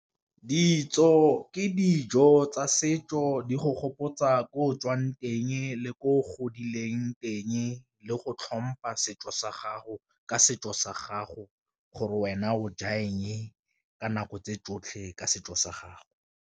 Ditso ke dijo tsa setso di go gopotsa ko o tswang teng le ko godileng teng, le go tlhompha setso sa gago ka setso sa gago gore wena o ja eng ka nako tse tsotlhe ka setso sa gago.